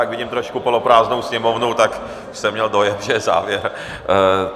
Jak vidím trošku poloprázdnou sněmovnu, tak jsem měl dojem, že je závěr.